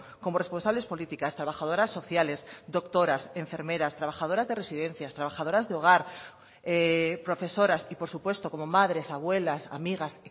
como responsables políticas trabajadoras sociales doctoras enfermeras trabajadoras de residencias trabajadoras de hogar profesoras y por supuesto como madres abuelas amigas